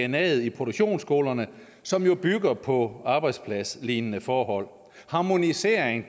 dnaet i produktionsskolerne som jo bygger på arbejdspladslignende forhold harmonisering